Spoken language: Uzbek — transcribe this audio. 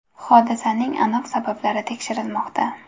Hodisaning aniq sabablari tekshirilmoqda.